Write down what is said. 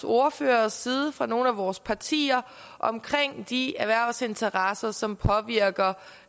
ordføreres side fra nogle af vores partier omkring de erhvervsinteresser som påvirker